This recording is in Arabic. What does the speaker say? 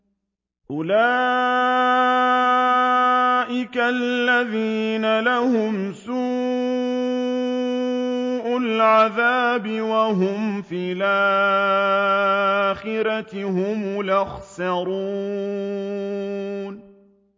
أُولَٰئِكَ الَّذِينَ لَهُمْ سُوءُ الْعَذَابِ وَهُمْ فِي الْآخِرَةِ هُمُ الْأَخْسَرُونَ